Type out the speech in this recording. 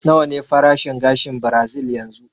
Nawa ne farashin gashin birazil yanzu?